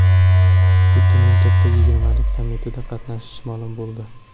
Putinning Katta yigirmalik sammitida qatnashishi ma’lum bo‘ldi.